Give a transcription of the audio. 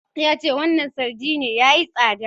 Yace wannan sardine yayi tsada?